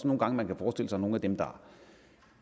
nogle gange kan forestille sig at nogle af dem der